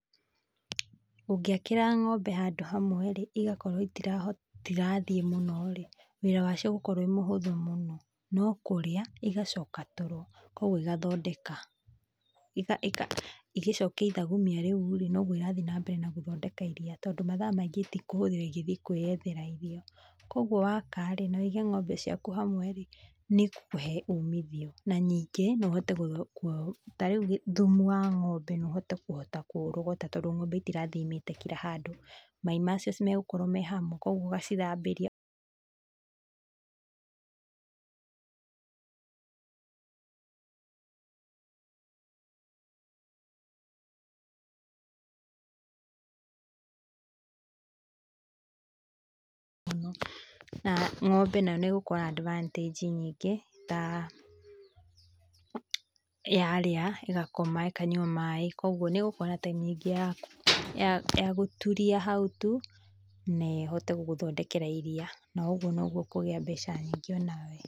ũngĩakĩra ng'ombe handũ hamwe-rĩ, igakorwo itirahota itirathiĩ mũno-rĩ, wĩra wacio ũgũkorwo wĩ mũhũtho mũno, no kũrĩa igacoka toro, kogwo igathondeka, ika, ika, igĩcokia ithagumia rĩuĩ noguo irathiĩ na mbere gũthondeka iria, tondũ mathaa maingĩ itikũhũthĩra igĩthie kwĩyethera irio, kogwo waka-rĩ na wĩige ng'ombe ciaku hamwe-rĩ nĩ igũkũhe ũmithio, na ningĩ no ũhote , tarĩu thumu wa ng'ombe no uhote kũhota kũurogota, tondũ ng'ombe itirathiĩ imĩte kila handũ maai macio megũkorwo me hamwe kogwo ũgacithambĩria na ng'ombe nayo nĩ gũkorwo na advantage nyingĩ taa yarĩa ĩgakoma, ĩkanyua maaĩ, kogwo nĩ gũkorwo na time nyingĩ ya ku guturia hau tu, na ĩhote gũgũthondekera iria, na oguo noguo ũkũgia mbeca nyingĩ o nawe.